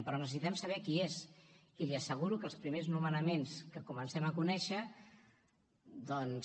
però necessitem saber qui és i li asseguro que els primers nomenaments que comencem a conèixer doncs